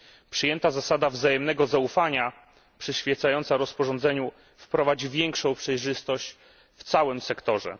Przyjęta zasada wzajemnego zaufania, przyświecająca rozporządzeniu, wprowadzi większą przejrzystość w całym sektorze.